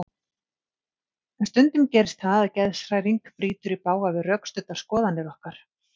En stundum gerist það að geðshræring brýtur í bága við rökstuddar skoðanir okkar.